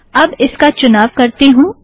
अब इसका चुनाव करती हूँ